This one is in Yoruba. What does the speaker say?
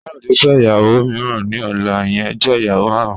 Kayode n fẹ iyawo miiran ni ọla, iyẹn jẹ iyawo marun.